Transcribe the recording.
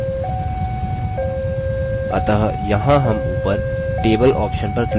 अतः यहाँ हम ऊपर table option पर click करेंगे